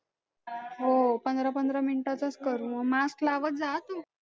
हो पंधरा पंधरा मिनिटाचच करू mask लावत जा हा तू